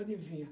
Adivinha?